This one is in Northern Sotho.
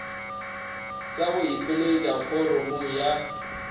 sa go ipelaetša foramong ya